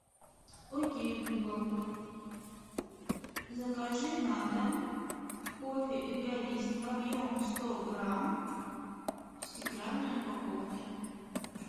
окей гугл закажи на дом кофе эгоист объем сто грамм в стеклянной упаковке